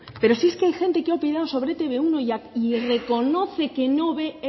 pero si es que hay gente que ha opinado sobre e te be uno y reconoce que no ve